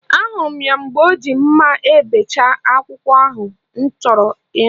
Ahụrụ m ya mgbe o ji mma ebechapụ akwụkwọ ahụ nọkọrọ ọnụ